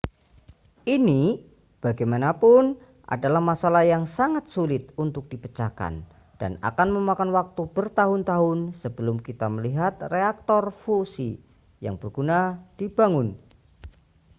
ini bagaimanapun adalah masalah yang sangat sulit untuk dipecahkan dan akan memakan waktu bertahun-tahun sebelum kita melihat reaktor fusi yang berguna dibangun